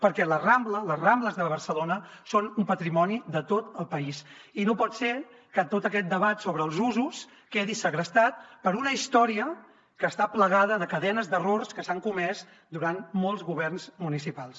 perquè la rambla les rambles de barcelona són un patrimoni de tot el país i no pot ser que tot aquest debat sobre els usos quedi segrestat per una història que està farcida de cadenes d’errors que s’han comès durant molts governs municipals